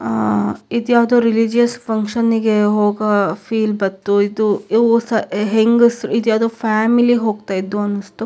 ಆ ಇದು ಯಾವುದೊ ರಿಲಿಜಿಯಸ್ ಫಂಕ್ಷನ್ ಗೆ ಹೋಗೋ ಫೀಲ್ ಬಂತು ಇದು ಯಾವುದೊ ಫ್ಯಾಮಿಲಿ ಹೋಗ್ತಾ ಇದ್ದು ಅನಿಸ್ತು.